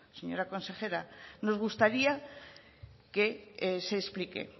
señora conejera nos gustaría que se explique